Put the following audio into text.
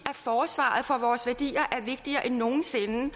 forsvaret for vores værdier er vigtigere end nogen sinde og